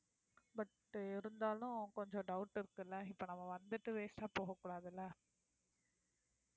but இருந்தாலும் கொஞ்சம் doubt இருக்குல்ல இப்ப நம்ம வந்துட்டு waste ஆ போகக்கூடாது இல்ல